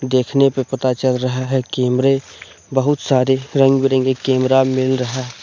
देखने पे पता चल रहा है कैमरे बहुत सारे रंग बिरंगे कैमरा मिल रहा--